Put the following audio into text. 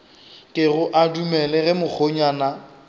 kego a dumele ge mokgonyana